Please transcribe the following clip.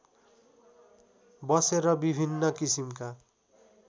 बसेर विभिन्न किसिमका